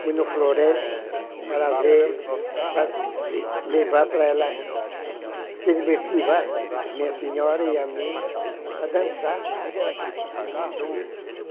Fui na floresta para ver, para levar para ela, ser divertida vai, a minha senhora e amiga, para dançar lá. Uhum